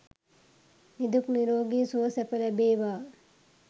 නිදුක් නිරෝගී සුව සැප ලැබේවා.